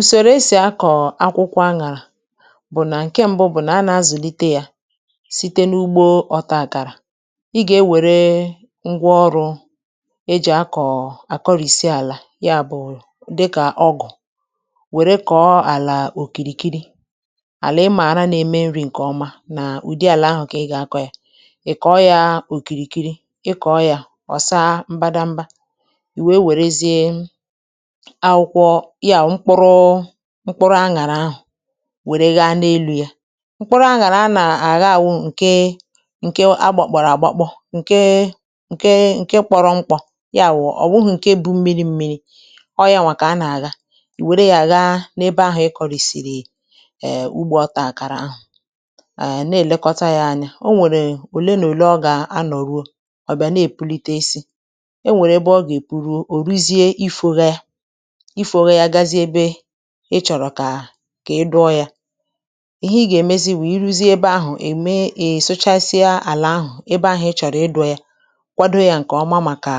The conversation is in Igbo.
Usoro esì akọ̀ akwụkwọ̇ aṅàlà bụ̀ nà ǹke mbụ bụ̀ nà a nà-azụ̀lite yȧ site n’ugbo ọtȧ àkàrà, ị gà-ewère ngwa ọrụ̇ e jì akọ̀ àkọrị̇sị àlà ya bụ̀ dịkà ọgụ̀ wère kọ̀ọ àlà òkìrìkiri àlà ịmààra nȧ-ėmė nri̇ ǹkè ọma nà ụ̀dị àlà ahụ̀ kà ị gà-àkọ ya, ị̀ kọ̀ọ yȧ òkìrìkiri ị kọ̀ọ yȧ ọ̀ saa mbadamba, ì wèe wèrezie akwụ̇kwọ̇ ya bụ̀ mkpụrụ mkpụrụ aṅaàrà ahụ̀ wère gha n’elu̇ ya, mkpụrụ aṅàrà ana-agha bụ ǹke ǹke agbọ̀kpọ̀rọ̀ àgbọkpọ̇ ǹke ǹke nkė kpọrọ mkpọ̇ ya bụ̀ ọ̀ wụghụ̇ ǹke bu mmiri̇ mmiri̇. ọọ̀ ya nwà kà a nà-àgha iwère ya gha n’ebe ahụ̀ ịkọ̇rị̀sị̀rị̀ eè ugbȯ otàkàrà ahụ̀, eè na-èlekọta yȧ anya, o nwèrè òle nà òle ọ gà anọ̀ruo, ọ̀ bịa na-èpunitesi e nwèrè ebe ọ gà-èpuruo òruzie ifȯgha ya ifogha ya gazie ebe ị chọ̀rọ̀ kà kà ị dụọ yȧ, ihe ị gà-èmezi bụ ị ruzie ebe ahụ̀, ị me ị̀ sụchasịa àlà ahụ̀ ebe ahụ̀ ị chọ̀rọ̀ ịdụ̇ yȧ kwado yȧ ǹkè ọma màkà